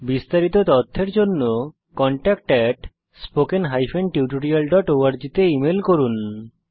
বিস্তারিত তথ্যের জন্য কনট্যাক্ট spoken tutorialorg তে ইমেল করুন